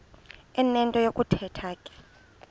enento yokuthetha ke